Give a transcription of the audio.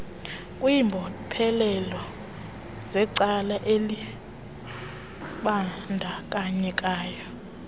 kwimbophelelo zecala elibandakanyekayo